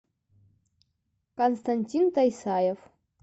константин тайсаев